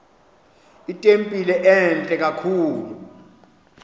itempile entle kakhulu